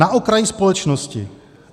Na okraj společnosti.